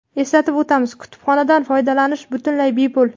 Eslatib o‘tamiz, kutubxonadan foydalanish butunlay bepul!.